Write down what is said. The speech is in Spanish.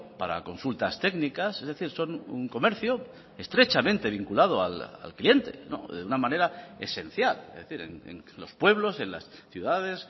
para consultas técnicas es decir son un comercio estrechamente vinculado al cliente de una manera esencial es decir en los pueblos en las ciudades